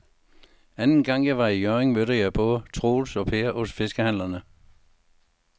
Anden gang jeg var i Hjørring, mødte jeg både Troels og Per hos fiskehandlerne.